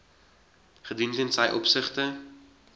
gedoen ten opsigte